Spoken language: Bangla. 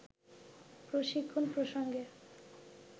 প্রশিক্ষণ প্রসঙ্গে